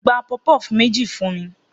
Gba puff puff meji fun mi